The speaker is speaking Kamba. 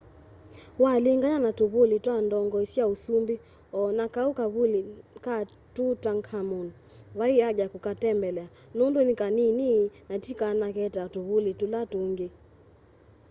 walingany'a na tũvũlĩ twa ndongoĩ sya ũsũmbĩ o na kaũ kavũlĩ ka tũtankhamũn vaĩ aja ya kũkatembelea nũndũ nĩ kanĩĩnĩ na tĩ kanake ta tũvũlĩ tũla tũngĩ